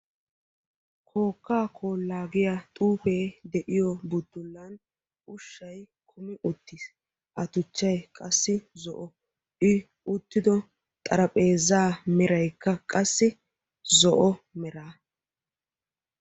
upuupaappe bolaara xuufee de'iyo buttulay beetees. i uttido xarapheezzaa meraykka qassi zo'o.